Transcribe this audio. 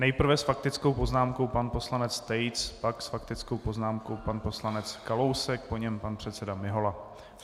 Nejprve s faktickou poznámkou pan poslanec Tejc, pak s faktickou poznámkou pan poslanec Kalousek, po něm pan předseda Mihola.